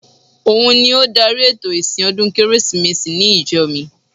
Òun ni ó dárí ètò ìsìn ọdún Kérésìmesì ní ìjọ mi